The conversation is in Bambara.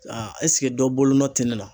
Ɛseke dɔ bolonɔ tɛ ne la.